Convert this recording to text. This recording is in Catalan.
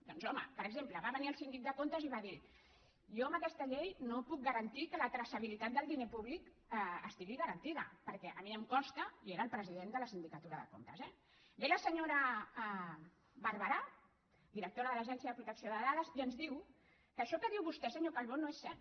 doncs home per exemple va venir el síndic de comptes i va dir jo amb aquesta llei no puc garantir que la traçabilitat del diner públic estigui garantida perquè a mi em costa i era el president de la sindicatura de comptes eh ve la senyora barbarà directora de l’autoritat de protecció de dades i ens diu que això que diu vostè senyor calbó no és cert